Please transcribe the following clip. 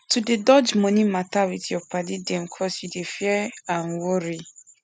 to dey dodge money matter with your padi dem cos you dey fear and worry